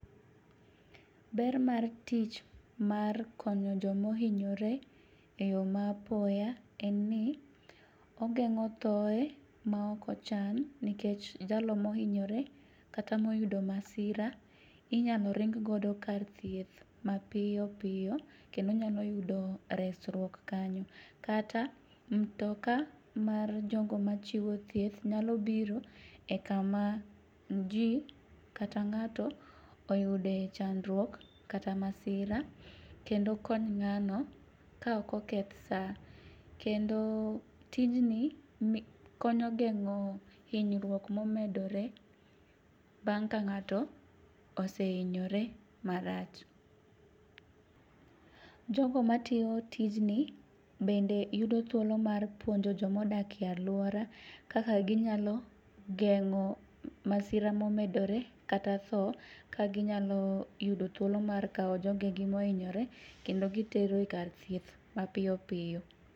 Ber mar tich mar konyo jomohinyore e yo ma apoya en ni, ogeng'o thoye ma ok ochan nikech jalo mohinyore kata moyudo masira inyalo ring godo kar thieth mapiyo piyo kendo nyalo yudo resruok kanyo, kata mtoka mar jogo machiwo thieth nyalo biro e kama ji kata ng'ato oyude chandruok kata masira kendo kony ng'ano ka ok oketh sa, kendo tijni konyo gengo hinyruok momedore bang' ka ng'ato osehinyore marach. Jogo matiyo tijni, bende yudo thuolo mar puonjo jomodakie alwora kaka ginyalo geng'o masira momedore kata tho ka ginyalo yudo thuolo mar kawo jogegi mohinyore kendo gitero e kar thieth mapiyo piyo.